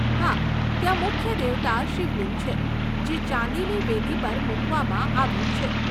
હા, ત્યાં મુખ્ય દેવતા શિવલિંગ છે જે ચાંદીની વેદી પર મૂકવામાં આવ્યું છે.